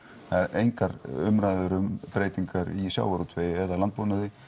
engar umræður um breytingar í sjávarútvegi eða landbúnaði